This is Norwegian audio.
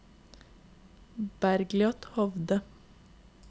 Bergliot Hovde